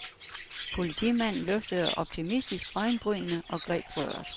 Politimanden løftede optimistisk øjenbrynene og greb røret.